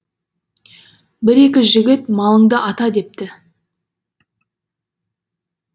бір екі жігіт малыңды ата депті